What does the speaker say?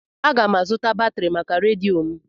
Aga m azụta batrị maka redio m.